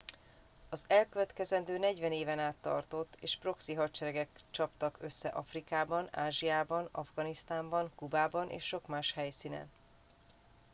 az elkövetkező 40 éven át tartott és proxy hadseregek csaptak össze afrikában ázsiában afganisztánban kubában és sok más helyszínen